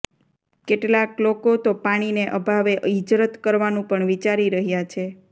કેટલાંક લોકોતો પાણીને અભાવે હિજરત કરવાનું પણ વિચારી રહ્યાં છે